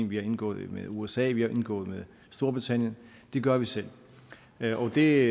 vi har indgået en med usa og vi har indgået med storbritannien det gør vi selv og det